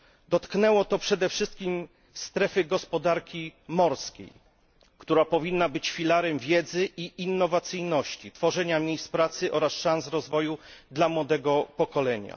Dotknęło to przede wszystkim strefy gospodarki morskiej, która powinna być filarem wiedzy i innowacyjności, tworzenia miejsc pracy oraz szans rozwoju dla młodego pokolenia.